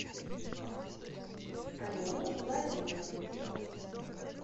алену владимировну